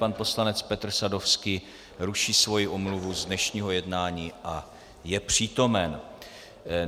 Pan poslanec Petr Sadovský ruší svoji omluvu z dnešního jednání a je přítomen.